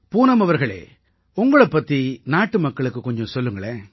பூனம் அவர்களே உங்களைப் பத்தி நாட்டு மக்களுக்குக் கொஞ்சம் சொல்லுங்க